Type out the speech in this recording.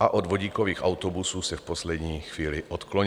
a od vodíkových autobusů se v poslední chvíli odklonilo.